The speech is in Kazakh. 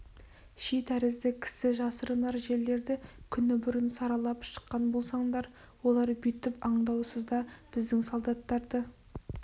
ши тәрізді кісі жасырынар жерлерді күні бұрын саралап шыққан болсаңдар олар бүйтіп аңдаусызда біздің солдаттарды